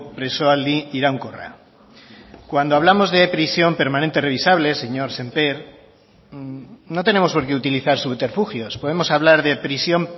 presoaldi iraunkorra cuando hablamos de prisión permanente revisable señor sémper no tenemos por qué utilizar subterfugios podemos hablar de prisión